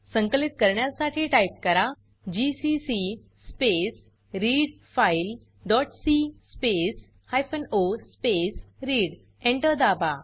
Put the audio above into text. संकलित करण्यासाठी टाइप करा GCC space readfile dot C space hyphen O space read Enter दाबा